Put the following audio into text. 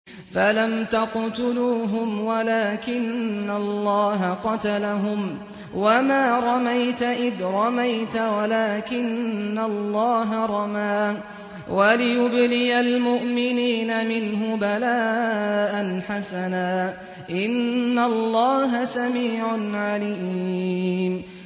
فَلَمْ تَقْتُلُوهُمْ وَلَٰكِنَّ اللَّهَ قَتَلَهُمْ ۚ وَمَا رَمَيْتَ إِذْ رَمَيْتَ وَلَٰكِنَّ اللَّهَ رَمَىٰ ۚ وَلِيُبْلِيَ الْمُؤْمِنِينَ مِنْهُ بَلَاءً حَسَنًا ۚ إِنَّ اللَّهَ سَمِيعٌ عَلِيمٌ